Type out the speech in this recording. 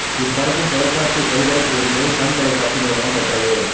இப்படத்தின் தொலைக்காட்சி ஒளிபரப்பு உரிமையை சன் தொலைக்காட்சி நிறுவனம் பெற்றது